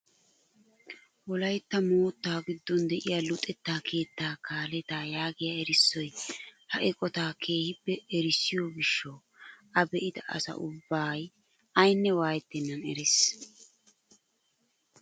Wolaytta moottaa giddon de'iyaa luxetta keettaa kalettaa yaagiyaa erissoy ha eqotaa keehippe erissiyoo gishshawu a be'ida asa ubbay ayne waayettenan erees.